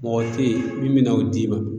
Mɔgɔ te ye min bina o d'i ma